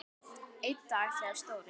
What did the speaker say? Einn dag þegar Stóri